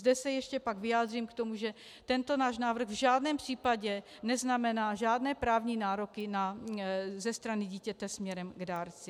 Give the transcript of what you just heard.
- Zde se ještě pak vyjádřím k tomu, že tento náš návrh v žádném případě neznamená žádné právní nároky ze strany dítěte směrem k dárci.